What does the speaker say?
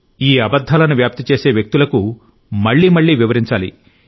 ఈ అబద్ధాలను వ్యాప్తి చేసే వ్యక్తులకు మళ్లీ మళ్లీ వివరించాలి